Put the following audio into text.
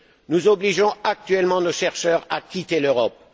Nous obligeons actuellement nos chercheurs à quitter l'Europe.